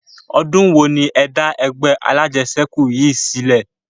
Odun wo ni ẹ da ẹgbẹ́ alajẹsẹ́kù yìí sílẹ̀?